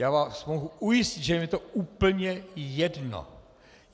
Já vás mohu ujistit, že je mi to úplně jedno.